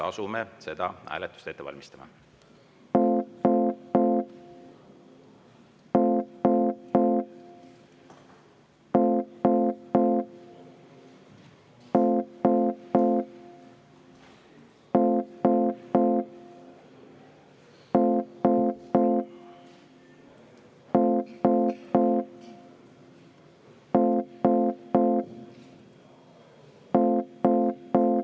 Asume seda hääletust ette valmistama.